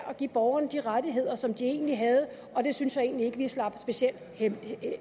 at give borgerne de rettigheder som de egentlig havde og det synes jeg egentlig ikke vi slap specielt